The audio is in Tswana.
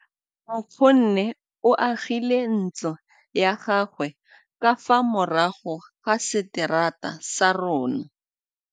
Nkgonne o agile ntlo ya gagwe ka fa morago ga seterata sa rona.